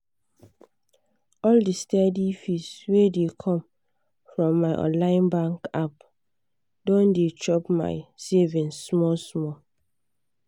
all the steady fees wey dey come from my online bank app don dey chop my savings small small.